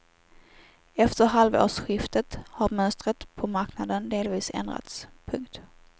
Efter halvårsskiftet har mönstret på marknaden delvis ändrats. punkt